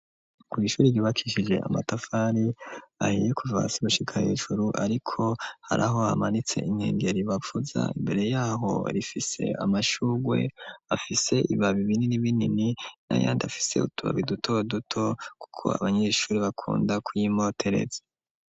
Kw’ishuri ryubakishije amatafari ahiye kuva hasi gushika hejuru ariko haraho amanitse inkengeri bavuza imbere yaho rifise amashugwe afise ibabi binini binini na yandi afise utubabi duto duto kuko abanyeshuri bakunda kuyi motereza.